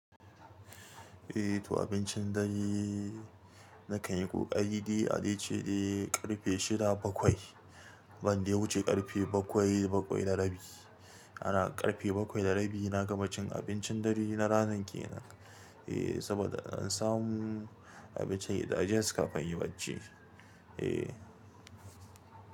Eh to abincin dare nakan yi ƙoƙari dai. Adai ce dai ƙarfe shida bakwai ban dai wuce ƙarfe bakwai bakwai da rabi. Ana ƙarfe bakwai da rabi na gama cin abincin dare na ranan kenan. Eh saboda an samu abincin ya da jest kafin inyi bacci. Eh.